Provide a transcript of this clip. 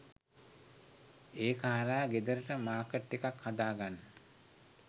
ඒක හරහා ගෙදරට මාකට් එකක් හදාගන්න